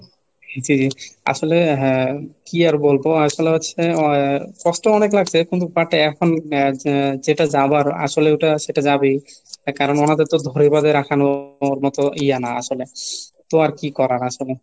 জি জি, আসলে হ্যাঁ কি আর বলবো আসলে হচ্ছে আহ কষ্ট অনেক লাগছে কিন্তু পাটে এখন যেটা যাবার আসলে ওটা সেটা যাবেই। হ্যাঁ কারণ আমাদের তো ধরে বেঁধে রাখানোর মতো ইয়ে না আসলে, তো আর কি করার আসলে?